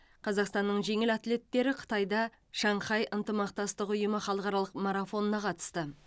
қазақстанның жеңіл атлеттері қытайда шанхай ынтымақтастық ұйымы халықаралық марафонына қатысты